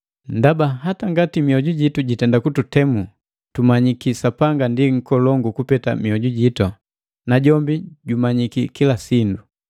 Ndaba, hata ngati mioju jitu jitenda kututemu, tumanyiki Sapanga ndi nkolongu kupeta miojujitu, na jombi jumanyiki kila sindu.